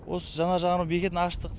осы жанар жағар бекетін аштық